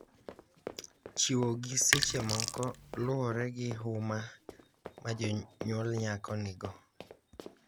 Chiwogi seche moko luwore gi huma ma jonyuol nyako nigo.